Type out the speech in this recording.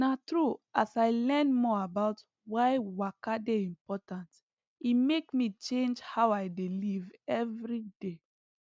na true as i learn more about why waka dey important e make me change how i dey live every day